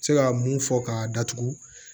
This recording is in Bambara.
Se ka mun fɔ k'a datugu